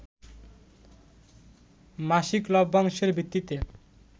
মাসিক লভ্যাংশের ভিত্তিতে